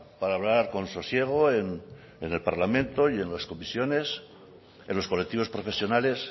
para hablar con sosiego en el parlamento y en las comisiones en los colectivos profesionales